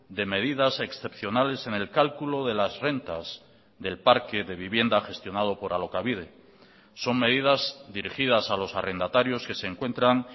de medidas excepcionales en el cálculo de las rentas del parque de vivienda gestionado por alokabide son medidas dirigidas a los arrendatarios que se encuentran